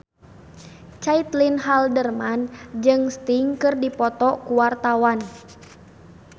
Caitlin Halderman jeung Sting keur dipoto ku wartawan